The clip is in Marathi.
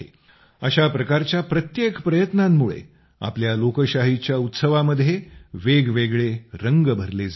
अशा प्रकारच्या प्रत्येक प्रयत्नांमुळे आपल्या लोकशाहीच्या उत्सवामध्ये वेगवेगळे रंग भरले जात आहेत